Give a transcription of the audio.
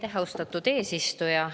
Aitäh, austatud eesistuja!